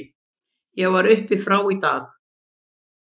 Ég var upp frá í dag.